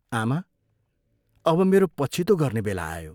आमा, अब मेरो पछितो गर्ने बेला आयो।